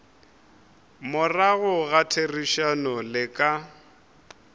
morago ga therišano le ka